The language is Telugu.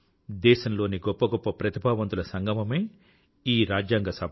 దేశం లోని గొప్ప గొప్ప ప్రతిభావంతుల సంగమమే ఈ రాజ్యాంగ సభ